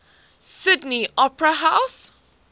sydney opera house